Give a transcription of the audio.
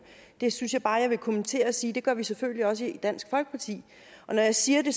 det synes jeg bare jeg vil kommentere og sige at det gør vi selvfølgelig også i dansk folkeparti når jeg siger det